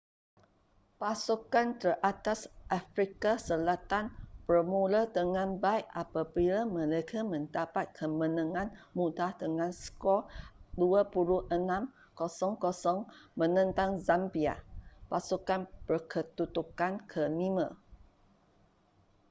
pasukan teratas afrika selatan bermula dengan baik apabila mereka mendapat kemenangan mudah dengan skor 26 - 00 menentang zambia pasukan berkedudukan ke-5